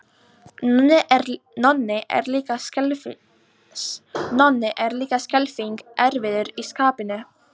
Nonni er líka skelfing erfiður í skapinu.